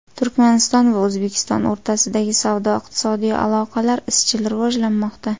Turkmaniston va O‘zbekiston o‘rtasidagi savdo-iqtisodiy aloqalar izchil rivojlanmoqda.